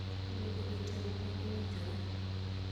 luongo jotelo ma owinjore